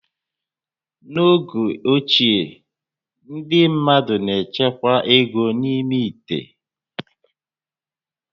N'oge ochie, ndị mmadụ na-echekwa égo n'ime íté